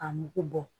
A mugu bɔ